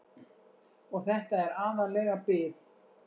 Og þetta er aðallega bið.